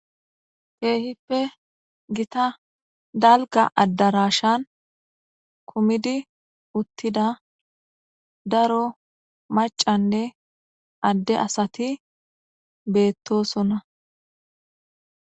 teehippe gita dalga addarashan kumidi uttida daro macanne adde asati beettosona